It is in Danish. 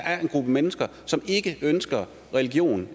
er en gruppe mennesker som ikke ønsker religion